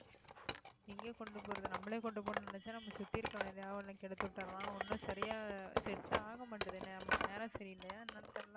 எங்க கொண்டு போறது நம்மளே கொண்டு போகணும்னு நினைச்சா நம்ம சுத்தி இருக்கிறவன் ஏதாவது ஒண்ணு கெடுத்து விட்டறான் ஒண்ணும் சரியா set ஆக மாட்டேங்குது என்ன நமக்கு நேரம் சரியில்லையா என்னன்னு தெரியல